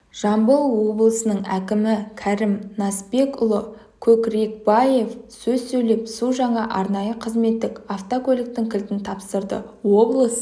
жамбыл облысының әкімі кәрім насбекұлы көкрекбаев сөз сөйлеп су жаңа арнайы қызметтік автокөліктің кілтін тапсырды облыс